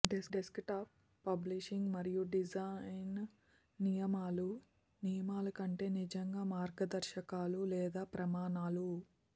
desktop publishing మరియు design నియమాలు నియమాలు కంటే నిజంగా మార్గదర్శకాలు లేదా ప్రమాణాలు